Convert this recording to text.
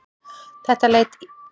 Þetta leit illa út.